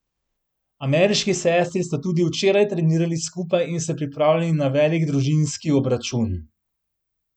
Ameriški sestri sta tudi včeraj trenirali skupaj in se pripravljali na velik družinski obračun.